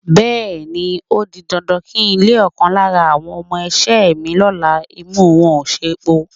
Bé̩è̩ni, ó di dandan kí ń le ò̩kan lára àwo̩n o̩mo̩-is̩é̩ mi ló̩la, imú wo̩n ò sépòó.